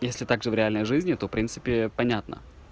если также в реальной жизни то принципе понятно